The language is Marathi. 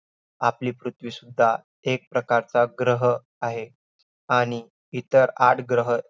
आपली पृथ्वीसुद्धा एक प्रकारचा ग्रह आहे आणि इतर आठ ग्रह,